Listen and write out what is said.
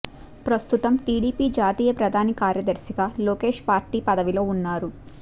ప్రస్తుతం టీడీపీ జాతీయ ప్రధాన కార్యదర్శి గా లోకేష్ పార్టీ పదవిలో ఉన్నారు